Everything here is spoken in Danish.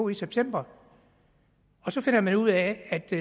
i september og så finder man ud af at de